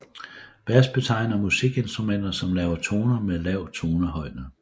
Bas betegner musikinstrumenter som laver toner med lav tonehøjde